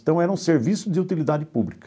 Então era um serviço de utilidade pública.